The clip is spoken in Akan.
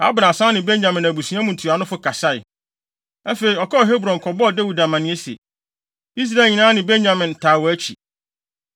Abner san ne Benyamin abusua mu ntuanofo kasae. Afei, ɔkɔɔ Hebron kɔbɔɔ Dawid amanneɛ se, Israel nyinaa ne Benyamin taa wʼakyi.